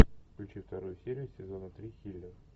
включи вторую серию сезона три хилер